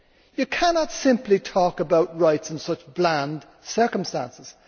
You cannot simply talk about rights in such bland circumstances.